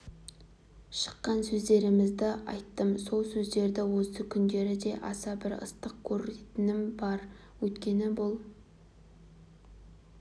шыққан сөздерімді айттым сол сөздерімді осы күндері де аса бір ыстық көретінім бар өйткені бұл